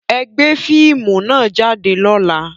Ẹ gbé fíìmù nà jáde lọ́la!